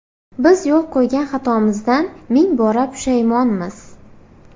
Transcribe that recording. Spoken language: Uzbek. Biz yo‘l qo‘ygan xatomizdan ming bora pushaymonmiz.